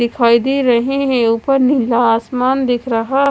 लिखवाइदे रहे है ऊपर नीला आसमान दिख रहा--